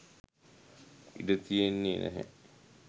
ඉඩ තියන්නෙ නැහැ